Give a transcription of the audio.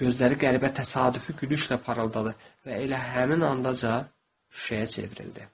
Gözləri qəribə təsadüfi gülüşlə parıldadı və elə həmin andaca şüşəyə çevrildi.